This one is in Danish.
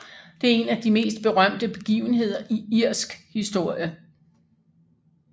Det er en af de mest berømte begivenheder i irsk historie